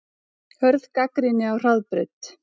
Hörð gagnrýni á Hraðbraut